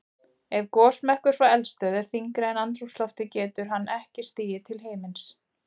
Ef gosmökkur frá eldstöð er þyngri en andrúmsloftið getur hann ekki stigið til himins.